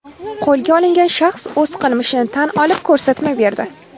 Qo‘lga olingan shaxs o‘z qilmishini tan olib, ko‘rsatma berdi.